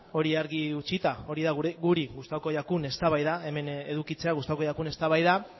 hori argi utzita hori da guri hemen edukitzea gustatuko jakun eztabaida